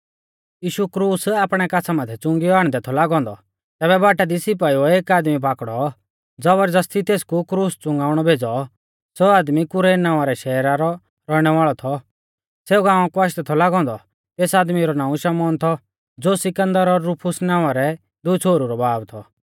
यीशु क्रूस आपणै काछ़ा माथै च़ुंगियौ आण्डदै थौ लागौ औन्दौ तैबै बाटा दी सिपाइउऐ एक आदमी पाकड़ौ ज़बर ज़ौस्ती तेसकु क्रूस च़ुंगाउणै भेज़ौ सौ आदमी कुरैन नावां रै शहरा रौ रौइणै वाल़ौ थौ सौ गाँवा कु आशदै थौ लागौ औन्दौ तेस आदमी रौ नाऊं शमौन थौ ज़ो सिकन्दर और रूफुस नावां रै दुई छ़ोहरु रौ बाब थौ